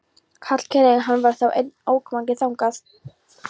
Hallkeli en hann var þá enn ókominn þangað.